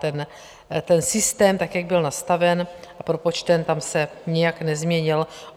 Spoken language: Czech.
Ten systém, tak jak byl nastaven a propočten, tam se nijak nezměnil.